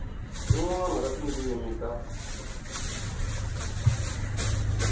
rin wana ra tindzimi ta